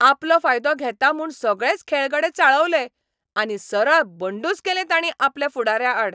आपलो फायदो घेता म्हूण सगळेच खेळगडे चाळवले, आनी सरळ बंडूच केलें तांणी आपल्या फुडाऱ्याआड.